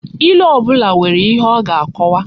Ilu obula nwere ihe o ga-akowa